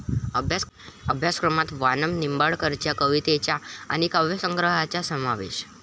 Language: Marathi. अभ्यासक्रमात वामन निंबाळकरच्या कवितांचा आणि काव्यसंग्रहाचा समावेश